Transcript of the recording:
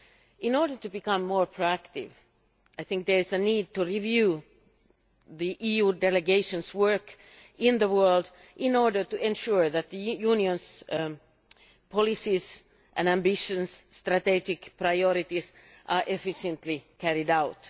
In order to become more proactive, I think there is a need to review the EU delegations' work in the world, in order to ensure that the Union's policies, ambitions and strategic priorities are efficiently carried out.